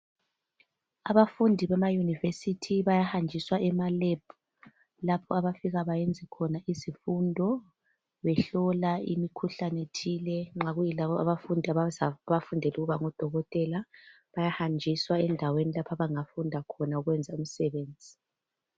Abafundi bemayunivesithi bayahanjiswa ema lab lapho abafika bayenze khona izifundo behlola imikhuhlane thile nxa kuyilabo abafundela ukuba ngudokotela bayahanjiswa endaweni abangafunda khona ukwenza imisebenzi